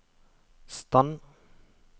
stand